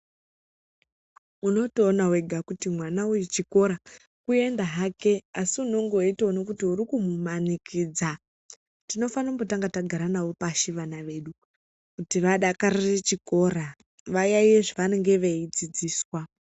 Unotoona wega kuti mwana wechikora kuenda hake asi unonge weitoona kuti urikumumanikidza. Tinofane kumbotanga tagara nawo pashi, vana vedu kuti vadakarire chikora vayaiye zvevanenge veidzidziswa.